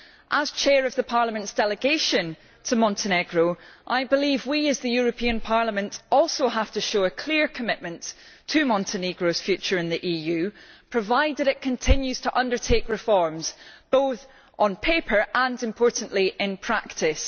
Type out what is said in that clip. As chair of Parliament's delegation to Montenegro, I believe we, as the European Parliament, also have to show a clear commitment to Montenegro's future in the EU, provided it continues to undertake reforms, both on paper and, importantly, in practice.